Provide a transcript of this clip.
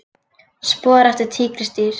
Spor eftir tígrisdýr.